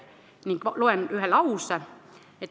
Loen siit ette ühe lause.